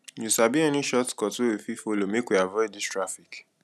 you sabi any shortcut wey we fit folo make we avoid dis traffic